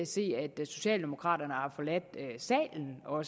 se at socialdemokraterne har forladt salen og